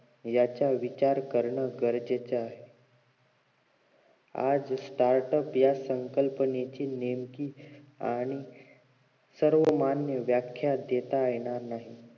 याचा विचार करण गरजेचं आहे आज startup या संकल्पनेची नेमकी आणि सर्वमान्य व्याख्या देण्यात येणार नाही